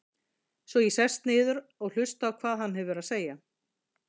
Svo ég sest niður og hlusta á hvað hann hefur að segja.